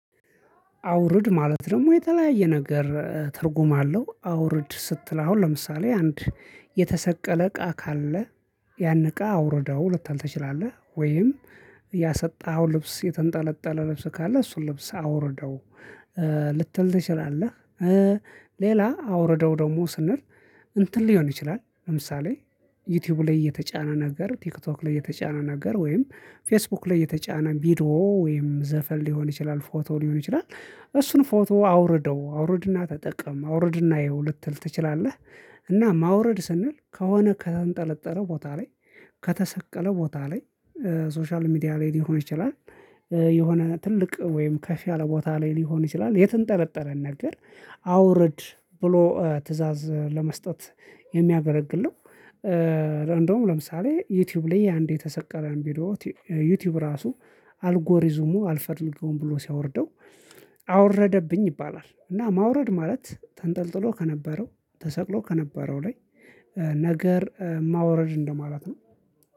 አውርድ ማለት ደግሞ የተለያየ ነገር ትርጉም አለው። አውርድ ስትል አሁን ለምሳሌ አንድ የተሰቀለ እቃ ካለ ያን እቃ አውርደው ልታል ትችላለህ ወይም ያሰጣኸው ልብስ የተንጠለጠለ ልብስ ካለ እሱን ልብስ አውርደው ልትል ትችላለህ? ሌላ አውርደው ደግሞ ስንል እንትን ሊሆን ይችላል ለምሳሌ ዩቲዩብ ላይ የተጫነ ነገር ቲክቶክ ላይ የተጫነ ነገር ወይም ፌስቡክ ላይ የተጫነ ቪድዮ ወይም ዘፈን ሊሆን ይችላል ፎቶ ሊሆን ይችላል። እሱን ፎቶ አውርደው አውርድና ተጠቀም አውርድና እይኸው ልትል ትችላለህ። እና ማውረድ ስንል ከሆነ ከተንጠለጠለ ቦታ ላይ ከተሰቀለ ቦታ ላይ ሶሻል ሚዲያ ላይ ሊሆን ይችላል። የሆነ ትልቅ ወይም ከፍ ያለ ቦታ ላይ ሊሆን ይችላል የተንጠለጠለን ነገር አውርድ ብሎ ትእዛዝ ለመስጠት የሚያገለግል ነው። እንደውም ለምሳሌ ዩቲዩብ ላይ አንዴ የተሰቀለን ቪዲዮ ዩቲዩብ ራሱ አልጎሪዝሙ አልፈልገውም ብሎ ሲያወርደው አወረደብኝ ይባላል። እና ማውረድ ማለት ተንጠልጥሎ ከነበረው ተሰቅሎ ከነበረው ላይ ነገረ ማውረድ እንደማለት ነው